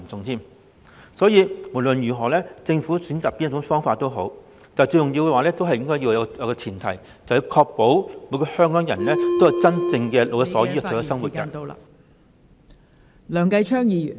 因此，無論政府選擇哪種方法也好，最重要的前提是確保每個香港人能夠享有真正老有所依的退休生活......